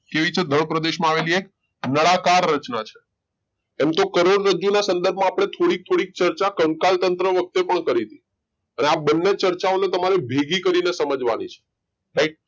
કેવી છે ભય પ્રદેશ માં આવેલી એક નળાકાર રચના છે એમતો કરોડરજ્જુ ના સંદર્ભ માં આપડે થોડીક થોડીક ચર્ચા કંકાલતંત્ર વખતે પણ કરી તી અને આ બને ચર્ચા ઓ ને તમારે ભેગી કરીને સમજાવી છે રાઈટ